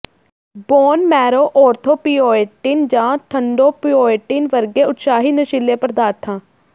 bone marrow erythropoietin ਜਾਂ thrombopoietin ਵਰਗੇ ਉਤਸ਼ਾਹੀ ਨਸ਼ੀਲੇ ਪਦਾਰਥਾਂ